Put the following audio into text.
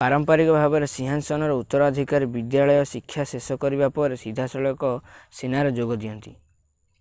ପାରମ୍ପରିକ ଭାବରେ ସିଂହାସନର ଉତ୍ତରାଧିକାରୀ ବିଦ୍ୟାଳୟ ଶିକ୍ଷା ଶେଷ କରିବା ପରେ ସିଧାସଳଖ ସେନାରେ ଯୋଗ ଦିଅନ୍ତି